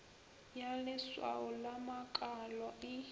ya leswao la makalo e